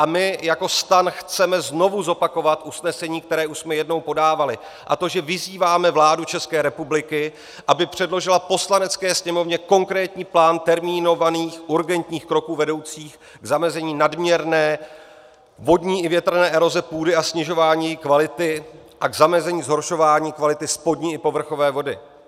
A my jako STAN chceme znovu zopakovat usnesení, které už jsme jednou podávali, a to že vyzýváme vládu České republiky, aby předložila Poslanecké sněmovně konkrétní plán termínovaných urgentních kroků vedoucích k zamezení nadměrné vodní i větrné eroze půdy a snižování její kvality a k zamezení zhoršování kvality spodní i povrchové vody.